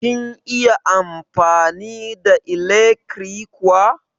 Kin iya amfani da ilekri kuwa?